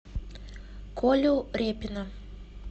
колю репина